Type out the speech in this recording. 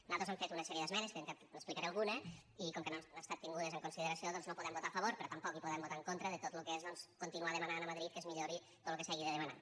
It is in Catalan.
nosaltres hem fet una sèrie d’esmenes que n’explicaré alguna i com que no han estat tingudes en consideració doncs no hi podem votar a favor però tampoc hi podem votar en contra de tot lo que és doncs continuar demanant a madrid que es millori tot lo que s’hagi de demanar